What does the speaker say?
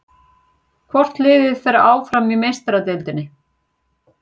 Hvort liðið fer áfram í Meistaradeildinni?